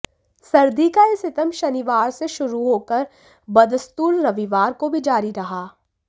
सर्दी का यह सितम शनिवार से शुरू होकर बदस्तूर रविवार को भी जारी रहा